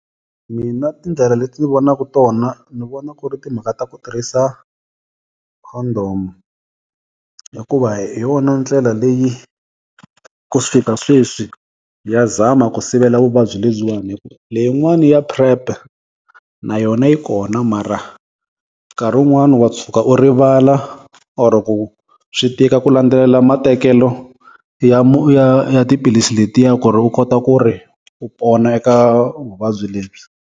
Mina tindlela leti ni vonaka tona ni vona ku ri timhaka ta ku tirhisa condom hikuva hi yona ndlela leyi ku fika sweswi ya zama ku sivela vuvabyi lebyiwana leyin'wani ya PrEP na yona yi kona mara nkarhi wun'wani wa tshuka u rivala or ku swi tika ku landzelela matekelo ya ya ya tiphilisi letiya ku ri u kota ku ri u pona eka vuvabyi lebyi.